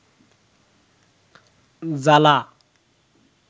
জালা